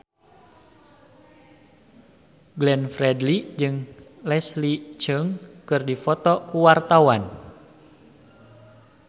Glenn Fredly jeung Leslie Cheung keur dipoto ku wartawan